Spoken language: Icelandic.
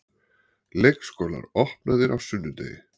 Leikskólar opnaðir á sunnudegi